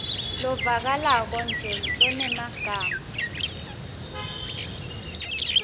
lovakalako nje lonemagama